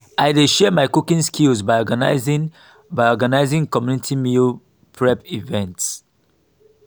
i dey share my cooking skills by organizing by organizing community meal prep events.